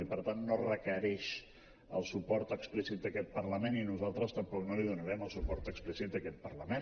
i per tant no requereix el suport explícit d’aquest parlament i nosaltres tampoc no li donarem el suport explícit a aquest parlament